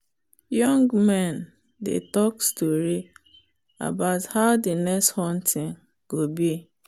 young men dey talk story about how the next hunting go be.